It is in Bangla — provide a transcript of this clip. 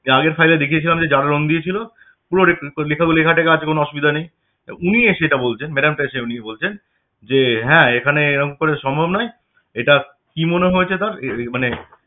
আগের file এ দেখিয়েছিলাম যে যারা রঙ দিয়েছিল পুরো লেখাগুলি~ লেখাটেখা আছে কোন আসুবিধা নেই উনি এসে এটা বলছেন madam টা এসে উনি বলছেন যে হ্যাঁ এখানে এরম করে সম্ভব নয়, এটা কি মনে হয়েছে তার যে~ মানে